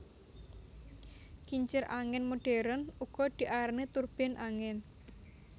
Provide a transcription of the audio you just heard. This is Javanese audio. Kincir angin modern uga diarani turbin angin